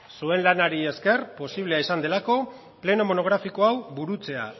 zuen lanari eskeri posiblea izan delako pleno monografiko hau burutzea